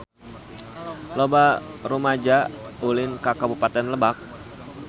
Loba rumaja ulin ka Kabupaten Lebak